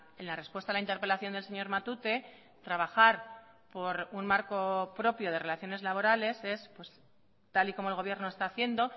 en la respuesta a la interpelación del señor matute trabajar por un marco propio de relaciones laborales es tal y como el gobierno está haciendo